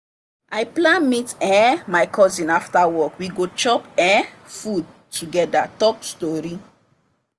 i plan meet um my cousin after work we go chop um food together talk story.